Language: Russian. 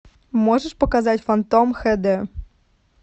можешь показать фантом хд